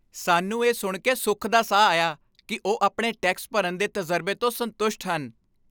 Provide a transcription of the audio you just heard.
ਸਾਨੂੰ ਇਹ ਸੁਣ ਕੇ ਸੁੱਖ ਦਾ ਸਾਹ ਆਇਆ ਕਿ ਉਹ ਆਪਣੇ ਟੈਕਸ ਭਰਨ ਦੇ ਤਜਰਬੇ ਤੋਂ ਸੰਤੁਸ਼ਟ ਹਨ।